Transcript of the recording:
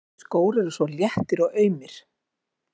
Þessir skór eru svo léttir og aumir.